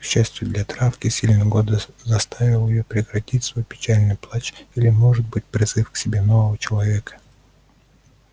к счастью для травки сильный голод заставил её прекратить свой печальный плач или может быть призыв к себе нового человека